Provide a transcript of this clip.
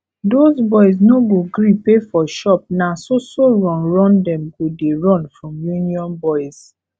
doz boys no go gree pay for shop na so so run run dem go dey run from union boys